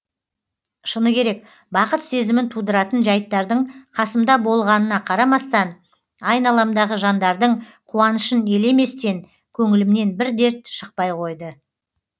шыны керек бақыт сезімін тудыратын жайттардың қасымда болғанына қарамастан айналамдағы жандардың қуанышын елеместен көңілімнен бір дерт шықпай қойды